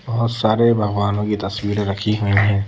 बहुत सारे भगवानों की तस्वीरें रखी हुई हैं।